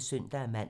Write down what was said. *(søn-man)